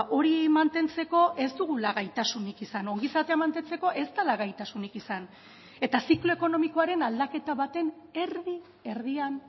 hori mantentzeko ez dugula gaitasunik izan ongizatea mantentzeko ez dela gaitasunik izan eta ziklo ekonomikoaren aldaketa baten erdi erdian